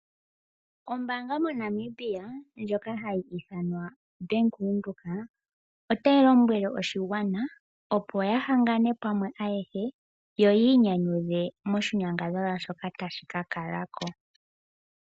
Ombaanga moNamibia ndjoka hayi ithanwa Bank Windhoek otayi lombwele oshigwana opo yahangane pamwe ayehe yo yiinyanyudhe moshinyangadhalwa shoka tashi kakalako.